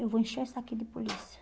Eu vou encher isso aqui de polícia.